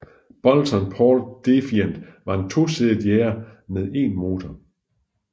Boulton Paul Defiant var en tosædet jager med en motor